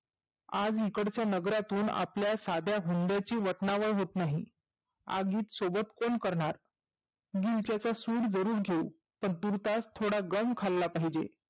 आज इकडच्या नगरातून आपल्या साध्या हुंड्याच्या वतनावळ होत नाही. आगीत सोबत कोण करणार? दिलच्याचा सुड जरुर घेऊ. पण तुरतास थोडा दम खाल्ला पाहिजे.